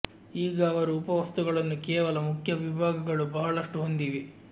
ಈಗ ಅವರು ಉಪ ವಸ್ತುಗಳನ್ನು ಕೇವಲ ಮುಖ್ಯ ವಿಭಾಗಗಳು ಬಹಳಷ್ಟು ಹೊಂದಿವೆ